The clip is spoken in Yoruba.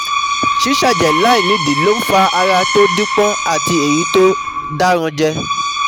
Ṣíṣẹ̀jẹ̀ láì nídìí ló ń fa ara tó dápọ́n àti èyí tó dáranjẹ̀